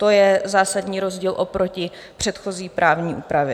To je zásadní rozdíl oproti předchozí právní úpravě.